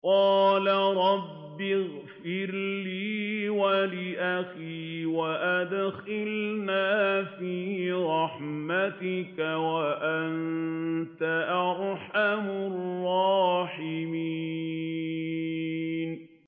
قَالَ رَبِّ اغْفِرْ لِي وَلِأَخِي وَأَدْخِلْنَا فِي رَحْمَتِكَ ۖ وَأَنتَ أَرْحَمُ الرَّاحِمِينَ